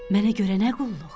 Mənə görə nə qulluq?